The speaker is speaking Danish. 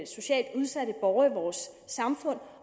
socialt udsatte borgere i vores samfund